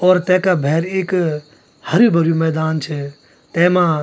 और तैका भैर इक हर्यु भर्यु मैदान च तैमा।